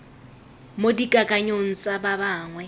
mo dikakanyong tsa ba bangwe